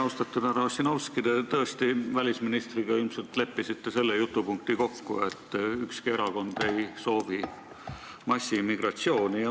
Austatud härra Ossinovski, te ilmselt tõesti leppisite välisministriga selles jutupunktis kokku, et ükski erakond ei soovi massimigratsiooni.